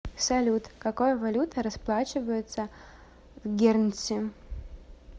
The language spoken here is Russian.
салют какой валютой расплачиваются в гернси